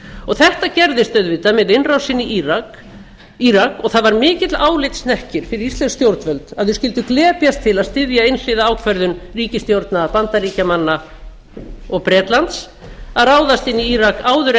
verndarskyldunnar þetta gerðist auðvitað með innrásinni í írak og það var mikill álitshnekkir fyrir íslensk stjórnvöld að þau skyldu glepjast til að styðja einhliða ákvörðun ríkisstjórna bandaríkjanna og bretlands að ráðast inn í írak áður en